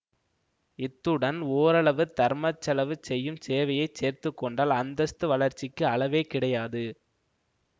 இத்துடன் ஓரளவு தர்மச்செலவு செய்யும் சேவையைச் சேர்த்துக்கொண்டால் அந்தஸ்து வளர்ச்சிக்கு அளவே கிடையாது